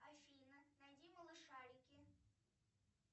афина найди малышарики